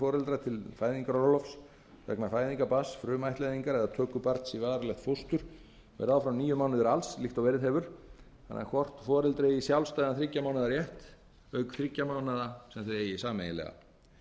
foreldra til fæðingarorlofs vegna fæðingar barns frumættleiðingar eða töku barns í varanlegt fóstur verði áfram níu mánuðir alls líkt og verið hefur þannig að hvort foreldri eigi sjálfstæðan þriggja mánaða rétt auk þriggja mánaða sem þau eiga sameiginlega